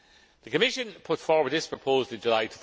The Commission put forward this proposal in